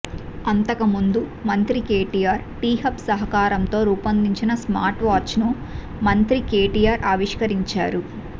అంతకుముందు మంత్రి కేటీఆర్ టీహబ్ సహకారంతో రూపొందించిన స్మార్ట్ వాచ్ను మంత్రి కేటీఆర్ ఆవిష్కరించారు